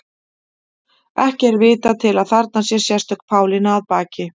Ekki er vitað til að þarna sé sérstök Pálína að baki.